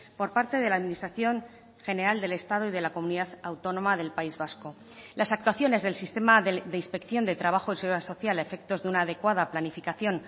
por parte de la administración general del estado y de la comunidad autónoma del país vasco las actuaciones del sistema de inspección de trabajo y seguridad social a efectos de una adecuada planificación